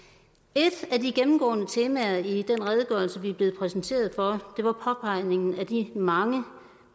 et af de gennemgående temaer i den redegørelse vi er blevet præsenteret for var påpegningen af de mange